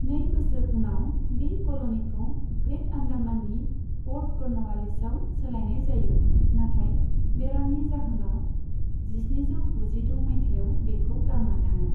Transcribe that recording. नै बोसोर उनाव, बे कलनीखौ ग्रेट आण्डामाननि प'र्ट कर्न'वालिसआव सोलायनाय जायो, नाथाय बेरामनि जाहोनाव जिस्निजौ गुजिद' माइथायाव बेखौ गारना थाङो।